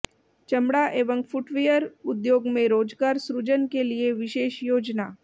चमड़ा एवं फुटवियर उद्योग में रोजगार सृजन के लिए विशेष योजना